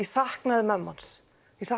saknaði mömmu hans